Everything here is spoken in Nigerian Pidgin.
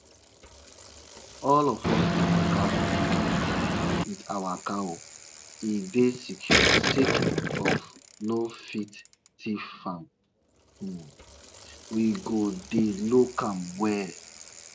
olden days tori dey remind us um say dew wey fall for morning dey give us message um if we dey waka um with empyt leg